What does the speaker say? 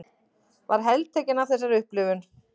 Var heltekin af þessari upplifun.